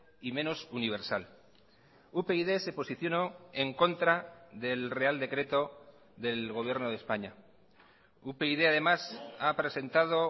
y menos universal upyd se posicionó en contra del real decreto del gobierno de españa upyd además ha presentado